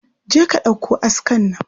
Je ka ɗauko askar nan.